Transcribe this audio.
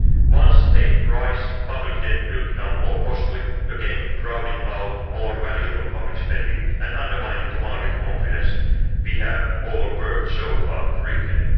Once they rise, public debt will become more costly, again crowding out more valuable public spending and undermining the market confidence we have all worked so hard to regain.